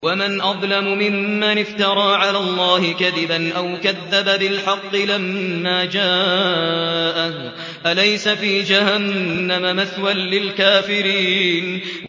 وَمَنْ أَظْلَمُ مِمَّنِ افْتَرَىٰ عَلَى اللَّهِ كَذِبًا أَوْ كَذَّبَ بِالْحَقِّ لَمَّا جَاءَهُ ۚ أَلَيْسَ فِي جَهَنَّمَ مَثْوًى لِّلْكَافِرِينَ